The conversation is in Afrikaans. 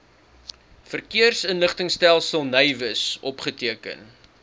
verkeersinligtingstelsel navis opgeteken